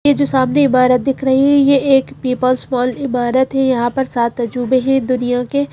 ये जो सामने इमारत दिख रही है यह एक पेपर स्मॉल इमारत है। यहां पर सात अजूबे ही दुनिया के।